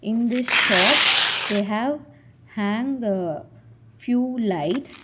In this shop they have hang few lights.